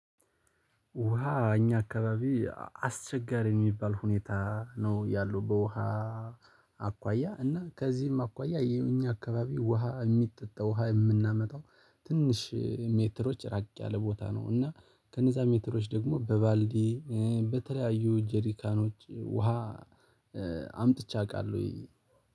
ውሃ እኛ አካባቢ አስቸጋሪ የሚባል ሁኔታ ነው ያለው። በውሃ አኳያ እና ከዚህም አኳያ የኛ አካባቢ ውሃ የሚጠጣ ውሃ የምናመጣው ትንሽ ሜትሮች ራቅ ያለ ቦታ ነው። እና ከነዛ ሜትሮች ደግሞ በባልዲ በተለያዩ ጀሪካኖች ውሃ አምጥቼ አውቃለሁኝ